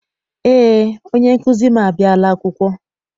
Eé, onye nkụzi m abiala akwụkwọ.